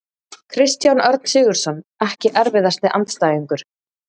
Kristján Örn Sigurðsson Ekki erfiðasti andstæðingur?